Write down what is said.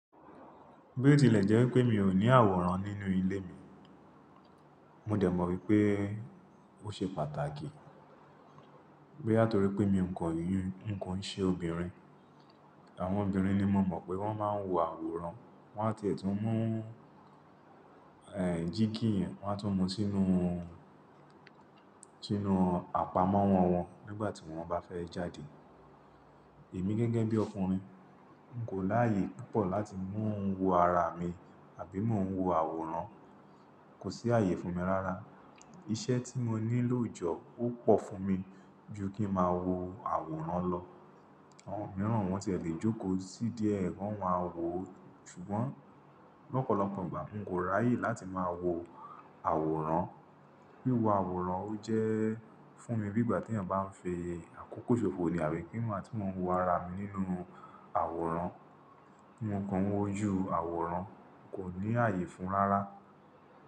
Bí ó tilẹ̀ jẹ́ pé mi ò ní àwòrán nínú ilé mi, mo dẹ̀ mọ̀ wípé ó ṣe pàtàkì. Boya nítorí pé mi ò kọ ìyìn, n kò ń ṣe obìnrin. Àwọn obìnrin ni mo mọ̀ pé wọ́n máa ń wo àwòrán, wọ́n á ti ètù mú, eeh jígí yẹn wọ́n á tún mú sínú, sínú àpamọ́ wọn wọn nígbà tí wọ́n bá fẹ́ jáde. Èmi gẹ́gẹ́ bí ọkùnrin, n kò láàyè púpọ̀ láti mú n wo ara mi àbí mo ń wo àwòrán. Kò sí ààyè fún mi rárá. Iṣẹ́ tí mo ní lójọọ́ ó pọ̀ fún mi ju kí n máa wo àwòrán lọ. Àwọn mìíràn wọ́n ti e lè jókòó sí díẹ̀ ki wọn ma wo, ṣùgbọ́n lọ́pọ̀lọpọ̀ ìgbà n kò ráyè láti máa wo àwòrán. Wíwo àwòrán ó jẹ́ fún mi bí ìgbà tí ẹ̀yàn bá ń fi àkókò ṣòfò nìyẹn, àbí kí igbàti mo ń wo ara mi nínú àwòrán. Mí òókan wó ju àwòrán, n kò ní ààyè fún rárá.